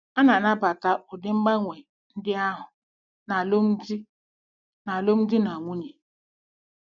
A na-anabata ụdị mgbanwe ndị ahụ n'alụmdi na n'alụmdi na nwunye.